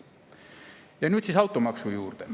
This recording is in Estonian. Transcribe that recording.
Ja nüüd siis automaksu juurde.